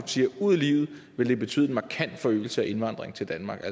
siger ud i livet ville det betyde en markant forøgelse af indvandringen til danmark